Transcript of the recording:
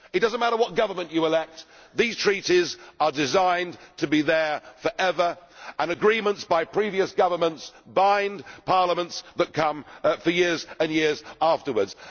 It does not matter what government you elect, these Treaties are designed to be there forever and agreements by previous governments bind parliaments that come for years and years afterwards.